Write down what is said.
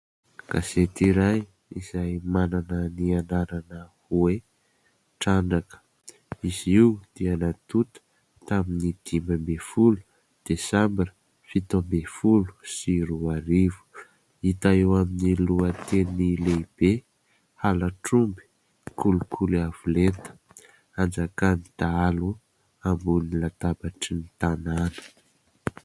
Gazety iray izay manana ny anarana hoe Trandraka. Izy io dia natota tamin'ny dimy ambin'ny folo desambra fito ambin'ny folo sy roa arivo. Hita eo amin'ny lohateny lehibe : halatr'omby, kolikoly avo lenta, anjakan'ny dahalo ambony latabatry ny tanàna.